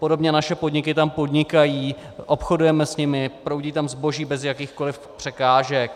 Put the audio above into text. Podobně naše podniky tam podnikají, obchodujeme s nimi, proudí tam zboží bez jakýchkoli překážek.